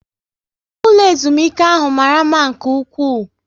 Ụlọ ezumike ahụ mara mma nke ụkwụ